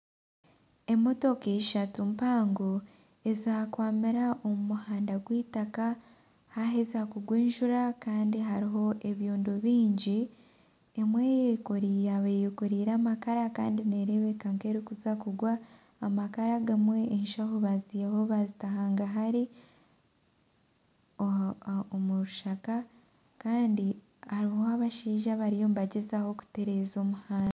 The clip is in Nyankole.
Emotoka ishatu mpango ezakwamire omu muhanda gw'eitaka haheza kugwa enjura kandi hariho ebyondo bingi emwe yaaba eyekoriire amakara kandi neereebeka nk'erikuza kugwa, amakara agamwe eshaaho ezimwe baazihaho baazita hagahari omu rushaka kandi hariho abashaija abariyo nibagyezaho kuteereza omuhanda